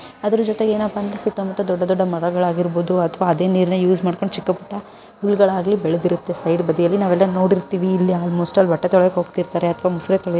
ಅದರ ಜೊತೆಗೆ ಏನಪ್ಪಾ ಅಂದ್ರೆ ಸುತ್ತಮುತ್ತ ದೊಡ್ಡ ದೊಡ್ಡ ಮರಗಳಾಗಿರಬಹುದು ಅಥವಾ ಅದೇ ನೀರಿನ ಯೂಸ್ ಮಾಡ್ಕೊಂಡು ಚಿಕ್ಕ ಪುಟ್ಟ ಹುಲ್ಲುಗಳಾಗಲಿ ಬೆಳೆದಿರುತ್ತೆ. ಸೈಡ್ಬದಿಯಲ್ಲಿ ನಾವೆಲ್ಲ ನೋಡಿರ್ತೀವಿ ಇಲ್ಲಿ ಆಲ್ಮೋಸ್ಟ್ ಎಲ್ಲ ಬಟ್ಟೆ ತೊಳೆಯೋಕೆ ಹೋಗ್ತಿರ್ತಾರೆ ಮುಸರೆ ತೊಳೆಯೊ --